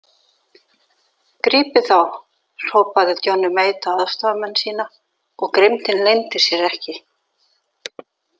Grípið þá hrópaði Johnny Mate á aðstoðarmenn sína og grimmdin leyndi sér ekki.